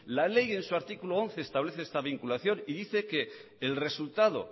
la ley en su artículo once establece esta vinculación y dice que el resultado